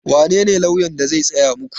Wanene lauyan da zai tsaya muku?